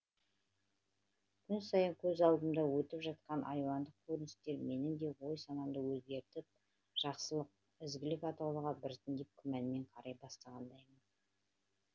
күн сайын көз алдымда өтіп жатқан айуандық көріністер менің де ой санамды өзгертіп жақсылық ізгілік атаулыға біртіндеп күмәнмен қарай бастағандаймын